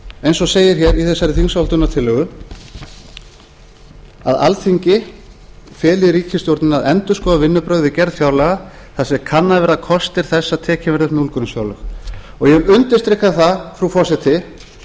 eins og segir hér í þessari þingsályktunartillögu að alþingi feli ríkisstjórninni að endurskoða vinnubrögð við gerð fjárlaga þar sem kannaðir verða kostir þess að tekin verði upp núllgrunnsfjárlög og ég vil undirstrika það frú forseti